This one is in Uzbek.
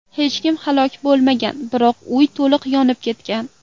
Hech kim halok bo‘lmagan, biroq uy to‘liq yonib ketgan.